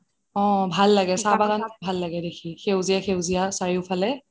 অহ ভাল লাগে, ভাল লাগে চাহ বাগান দেখি সেউজীয়া সেউজীয়া চাৰিওফালে